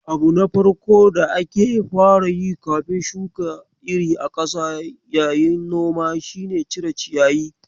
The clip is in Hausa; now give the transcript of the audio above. Abu na farko da ake fara yi kafin shuka iri a ƙasa yayin noma shine cire ciyayi.